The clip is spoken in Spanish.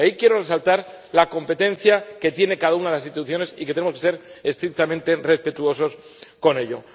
Y ahí quiero resaltar la competencia que tiene cada una de las instituciones y que tenemos que ser estrictamente respetuosos con ello.